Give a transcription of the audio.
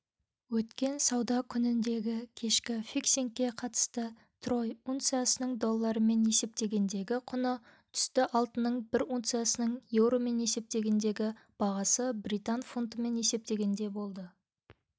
өткен сауда күніндегікешкі фиксингке қатысты трой унциясының доллармен есептегендегі құны түсті алтынның бір унциясының еуромен есептегендегі бағасы британ фунтымен есептегенде болды